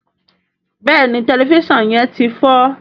béèni Tẹlifísàn yén tí fọ.